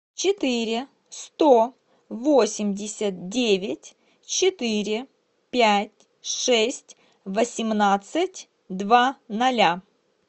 четыре сто восемьдесят девять четыре пять шесть восемнадцать два ноля